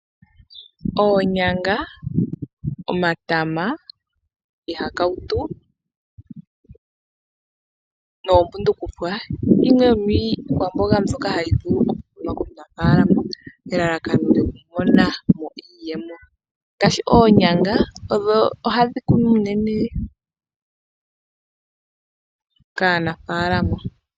Oonyanga, omatama, iihakautu noombundufukwa, yimwe yomiikwamboga mbyoka hayi vuku okukunwa kaanaafalama nelalakano lyokumonamo iiyemo . Oonyanga odho hadhi kunwa unene kaanafaalama.